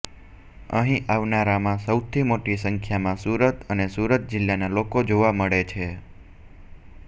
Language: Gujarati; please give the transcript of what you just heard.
અહીં આવનારામાં સૌથી મોટી સંખ્યામાં સુરત અને સુરત જિલ્લાના લોકો જોવા મળે છે